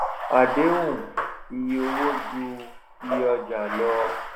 àdéhùn iye owó ju iyé ọjà lọ